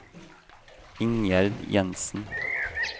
Ingjerd Jensen